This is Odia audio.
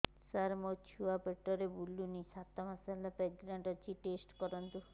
ସାର ମୋର ଛୁଆ ପେଟରେ ବୁଲୁନି ସାତ ମାସ ପ୍ରେଗନାଂଟ ଅଛି ଟେଷ୍ଟ କରନ୍ତୁ